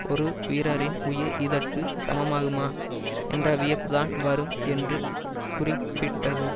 ஒரு வீரரின் உயிர் இதற்கு சமமாகுமா என்ற வியப்புத்தான் வரும் என்று குறிப்பிட்டது